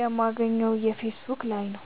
የማገኘው ፌሰቡክ ላይ ነዉ